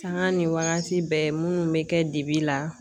Sanga ni wagati bɛɛ minnu bɛ kɛ dibi la.